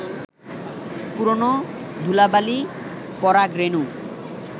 পুরনো ধুলাবালি, পরাগ রেণু